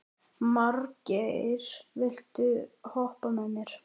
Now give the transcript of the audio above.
Margeir, viltu hoppa með mér?